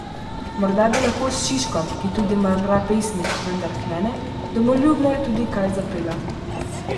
Morda bi lahko s Šiškom, ki tudi mrmra pesmi, vendar klene, domoljubne, kaj skupaj zapela.